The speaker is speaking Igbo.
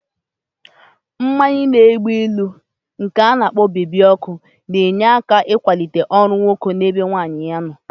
Mmanya na-egbu ilu nke ana-kpo bebi ọkụ na-enyere aka ịkwalite ọrụ nwoke na-ebe nwunye ya nọ